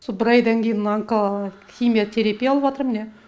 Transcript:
со бір айдан кейін мына химиотерапия алыватыр міне